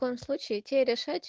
в случае утери